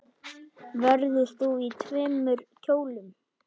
Verður þú í tveimur kjólum?